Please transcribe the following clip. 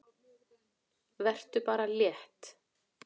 Vertu bara létt!